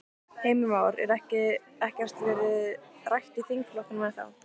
Heimir Már: En ekkert verið rætt í þingflokknum ennþá?